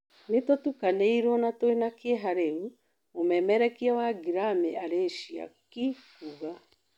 "Nĩtũtukanĩirwo na twĩna kĩeha rĩu," mũmererekia wa Ngĩramĩ Arĩcia Ki kuuga.